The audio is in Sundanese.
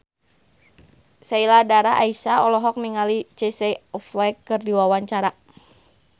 Sheila Dara Aisha olohok ningali Casey Affleck keur diwawancara